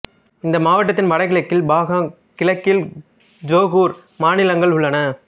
இந்த மாவட்டத்தின் வடகிழக்கில் பகாங் கிழக்கில் ஜொகூர் மாநிலங்கள் உள்ளன